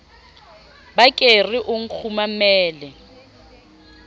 ba ke re o nkgumamele